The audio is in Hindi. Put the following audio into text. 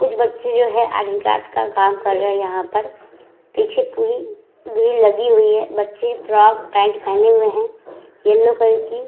कुछ बच्चे जो हैं आर्ट एण्ड क्राफ्ट का काम कर रहे है यहाँ पर। पीछे पूरी ग्रिल लगी हुई है। बच्चे फ्रॉक पैंट पेहने हुए हैं येलो कलर की।